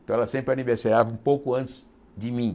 Então, ela sempre aniversariava um pouco antes de mim.